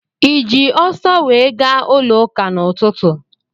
Ị ji ọso wee gaa ụlọụka n'ụtụtụ?